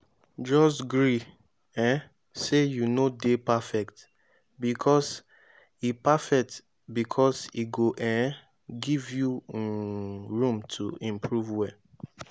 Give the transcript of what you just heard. jus gree um sey yu no dey perfect bikos e perfect bikos e go um giv yu um room to improve well